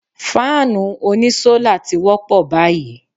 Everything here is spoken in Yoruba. Fáànù oní sólà ti wọ́pọ̀ báyìí.